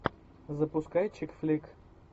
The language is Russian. запускай чик флик